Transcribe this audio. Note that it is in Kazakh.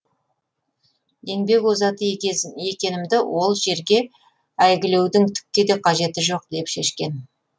еңбек озаты екенімді ол жерге әйгілеудің түкке де қажеті жоқ деп шешкен